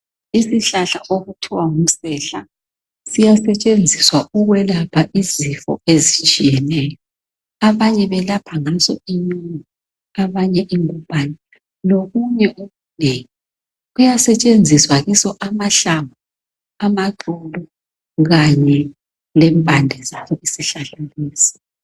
Isihlahla okuthwa ngumsehla , siyasetshenziswa ukwelapha izifo ezitshiyeneyo. abanye belapha ngaso inyongo abanye ingubhane .Lokunye okunengi ,kuyasetshenziswa kiso amahlamvu ,amaxolo Kanye lempande zaso isihlahla lesi.